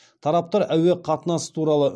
тараптар әуе қатынасы туралы